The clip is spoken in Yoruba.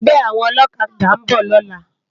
Ègbè áwòn òlòkàdá n bò lòlá